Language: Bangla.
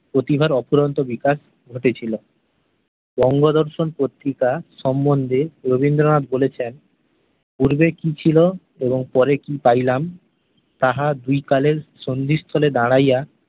প্রতিভার অফুরন্ত বিকাশ ঘটেছিল । বঙ্গদর্শন পত্রিকা সম্বন্ধে রবীন্দ্রনাথ বলেছেন পূর্বে কী ছিল এবং পরে কী পাইলাম, তাহা দুইকালের সন্ধিস্থলে দাঁড়াইয়া